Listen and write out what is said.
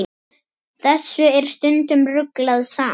Þessu er stundum ruglað saman.